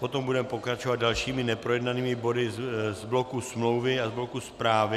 Potom budeme pokračovat dalšími neprojednanými body z bloku smlouvy a z bloku zprávy.